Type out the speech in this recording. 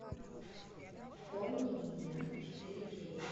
помни меня четыре кей